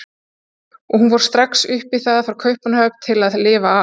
Og hún fær strax upp í það frá Kaupmannahöfn til að lifa af.